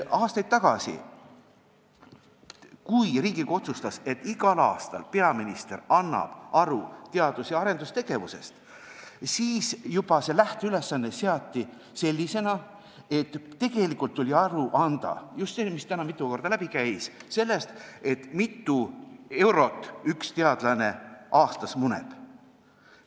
Aastaid tagasi, kui Riigikogu otsustas, et igal aastal annab peaminister aru teadus- ja arendustegevusest, siis juba lähteülesanne seati sellisena, et tegelikult tuli aru anda – see on just see, mis täna mitu korda siit läbi käis – sellest, kui mitu eurot üks teadlane aastas muneb.